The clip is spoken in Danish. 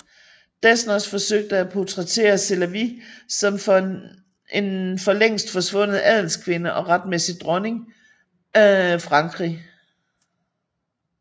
Desnos forsøgte at portrættere Sélavy som en for længst forsvundet adelskvinde og retmæssig dronning af Frankrig